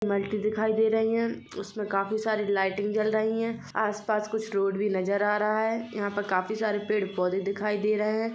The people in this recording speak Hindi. दिखाई दे रही है उसमें काफी सारी लाइटिंग जल रही है आस-पास कुछ रोड भी नजर आ रहा है यह पे काफी सारे पेड़ पौधे दिखाई दे रहे है।